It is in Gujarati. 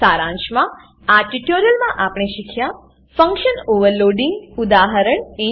સારાંશમાં આ ટ્યુટોરીયલમાં આપણે શીખ્યા ફંકશન ઓવરલોડિંગ ફંક્શન ઓવરલોડીંગ